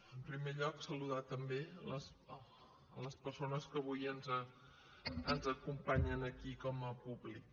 en primer lloc saludar també les persones que avui ens acompanyen aquí com a públic